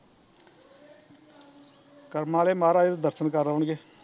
ਕਰਮਾਂ ਆਲੇ ਮਹਰਾਜ ਦੇ ਦਰਸ਼ਨ ਕਰ ਆਉਣਗੇ